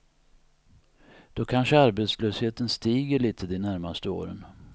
Då kanske arbetslösheten stiger lite de närmaste åren.